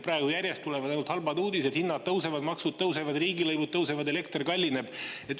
Praegu tulevad järjest ainult halvad uudised: hinnad tõusevad, maksud tõusevad, riigilõivud tõusevad, elekter kallineb.